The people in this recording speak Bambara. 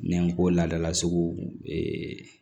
N'an ko ladala sugu